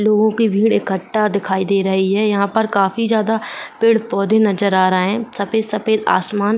लोगो की भीड़ इकठा दिखाई दे रही है। यहां पर काफी ज्यादा पेड़-पौधे नजर आ रहे हैं सफेद-सफेद आसमान --